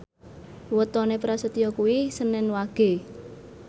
wetone Prasetyo kuwi senen Wage